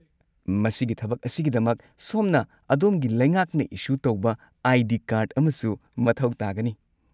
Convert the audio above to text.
ꯃꯁꯤꯒꯤ ꯊꯕꯛ ꯑꯁꯤꯒꯤꯗꯃꯛ ꯁꯣꯝꯅ ꯑꯗꯣꯝꯒꯤ ꯂꯩꯉꯥꯛꯅ ꯏꯁꯨ ꯇꯧꯕ ꯑꯥꯏ.ꯗꯤ. ꯀꯥꯔꯗ ꯑꯃꯁꯨ ꯃꯊꯧ ꯇꯥꯒꯅꯤ꯫